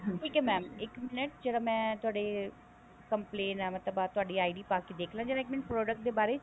ਠੀਕ ਹੈ mam ਇੱਕ minute ਜਰਾ ਮੈਂ ਤੁਹਾਡੇ complaint ਮਤਲਬ ਤੁਹਾਡੀ ID ਪਾ ਕੇ ਦੇਖਲਾ ਜਰਾ ਇੱਕ ਮਿੰਟ product ਦੇ ਬਾਰੇ